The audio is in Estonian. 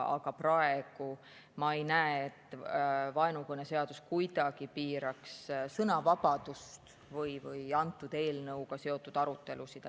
Aga praegu ma ei näe, et vaenukõneseadus kuidagi piiraks sõnavabadust või antud eelnõuga seotud arutelusid.